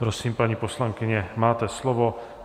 Prosím, paní poslankyně, máte slovo.